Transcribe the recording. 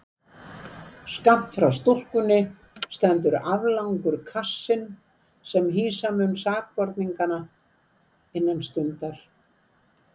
Skammt frá stúkunni stendur aflangur kassinn sem hýsa mun sakborningana innan stundar.